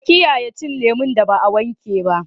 Ka kiyaye cin leman da ba a wanke ba.